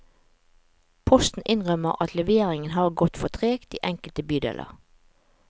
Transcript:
Posten innrømmer at leveringen har gått for tregt i enkelte bydeler.